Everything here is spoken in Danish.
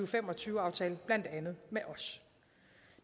fem og tyve aftale blandt andet med os